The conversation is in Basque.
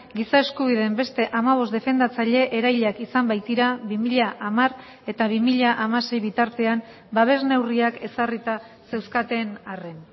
giza eskubideen beste hamabost defendatzaile erailak izan baitira bi mila hamar eta bi mila hamasei bitartean babes neurriak ezarrita zeuzkaten arren